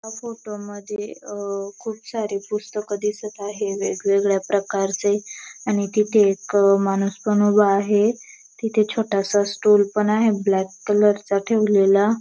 हा फोटो मध्ये अहं खूप सारे पुस्तक दिसत आहेत वेगवेगळ्या प्रकारचे आणि तिथे एक माणूस पण उभा आहे तिथे छोटासा स्टूल पण आहे ब्लॅक कलरचा ठेवलेला.